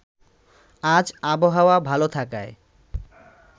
আজ আবহাওয়া ভালো থাকায়